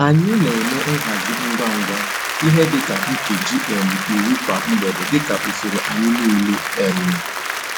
Anyị n'eme nhazi ngwa ngwa ihe di ka nkeji um iri kwa mgbede dika usoro anyi niile um